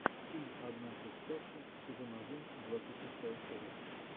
фильм однажды в сказке сезон один двадцать шестая серия